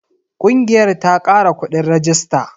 Ƙungiyar ta kara kuɗin rajista.